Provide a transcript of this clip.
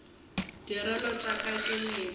diorelo tša ka ke meetse